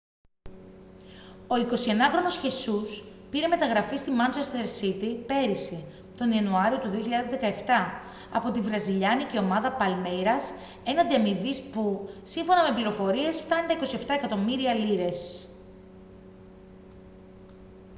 ο 21χρονος χεσούς πήρε μεταγραφή στη μάντσεστερ σίτι πέρυσι τον ιανουάριο του 2017 από τη βραζιλιάνικη ομάδα παλμέιρας έναντι αμοιβής που σύμφωνα με πληροφορίες φτάνει τα 27 εκατομμύρια λίρες